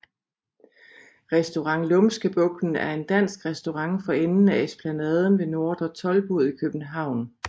Restaurant Lumskebugten er en dansk restaurant for enden af Esplanaden ved Nordre Toldbod i København